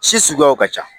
Si suguyaw ka ca